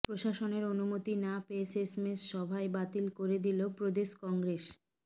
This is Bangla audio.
প্রশাসনের অনুমতি না পেয়ে শেষমেষ সভাই বাতিল করে দিল প্রদেশ কংগ্রেস